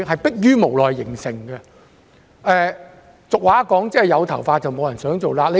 俗語有云："有頭髮，無人想做瘌痢。